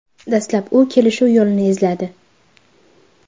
Dastlab u kelishuv yo‘lini izladi.